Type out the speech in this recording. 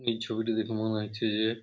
এই ছবিটি দেখে মনে হচ্ছে যে--